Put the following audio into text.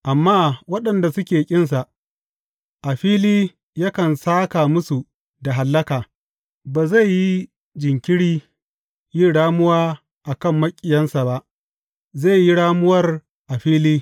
Amma waɗanda suke ƙinsa, a fili yakan sāka musu da hallaka; ba zai yi jinkiri yin ramuwa a kan maƙiyinsa ba, zai yi ramuwar a fili.